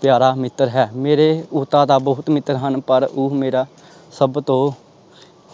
ਪਿਆਰਾ ਮਿੱਤਰ ਹੈ, ਮੇਰੇ ਓਦਾਂ ਤਾਂ ਬਹੁਤ ਮਿੱਤਰ ਹਨ ਪਰ ਉਹ ਮੇਰਾ ਸਭ ਤੋਂ